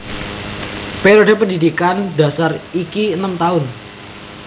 Periode pendhidhikan dhasar iki enem taun